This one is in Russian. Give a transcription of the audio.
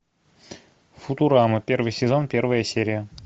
футурама первый сезон первая серия